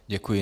Děkuji.